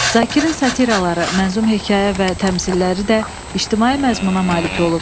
Zakirin satilaları, mənzum hekayə və təmsilləri də ictimai məzmuna malik olub.